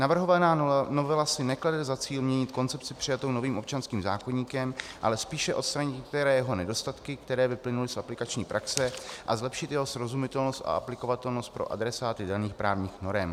Navrhovaná novela si neklade za cíl měnit koncepci přijatou novým občanským zákoníkem, ale spíše odstranit některé jeho nedostatky, které vyplynuly z aplikační praxe, a zlepšit jeho srozumitelnost a aplikovatelnost pro adresáty daných právních norem.